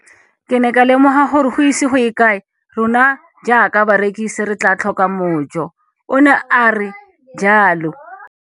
Ke ne ka lemoga gore go ise go ye kae rona jaaka barekise re tla tlhoka mojo, o ne a re jalo.